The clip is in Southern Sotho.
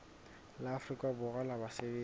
la afrika borwa la basebetsi